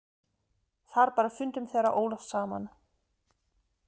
Þar bar fundum þeirra Ólafs saman.